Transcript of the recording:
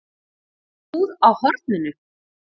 Búð á horninu?